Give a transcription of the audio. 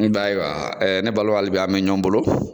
Nba ye wa ɛɛ ne balimanw hali bi an be ɲɔgɔn bolo .